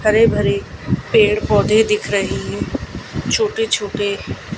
हरे भरे पेड़ पौधे दिख रहे हैं छोटे छोटे।